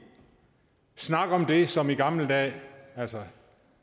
snakke om det som i gamle dage altså